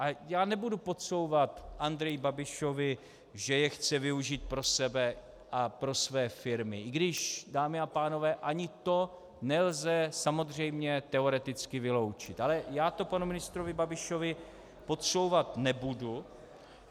A já nebudu podsouvat Andreji Babišovi, že je chce využít pro sebe a pro své firmy, i když, dámy a pánové, ani to nelze samozřejmě teoreticky vyloučit, ale já to panu ministrovi Babišovi podsouvat nebudu -